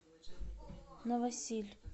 новосиль